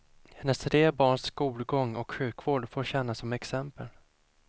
Hennes tre barns skolgång och sjukvård får tjäna som exempel.